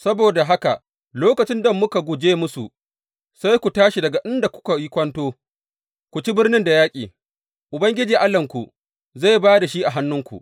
Saboda haka lokacin da muka guje musu, sai ku tashi daga inda kuka yi kwanto, ku ci birnin da yaƙi, Ubangiji Allahnku zai ba da shi a hannunku.